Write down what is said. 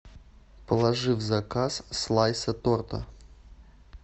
положи в заказ слайса торта